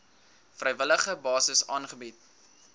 vrywillige basis aangebied